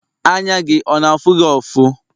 anya gị ọ na afugị ọfu?